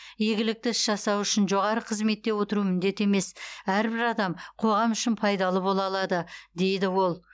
игілікті іс жасау үшін жоғары қызметте отыру міндет емес әрбір адам қоғам үшін пайдалы бола алады дейді ол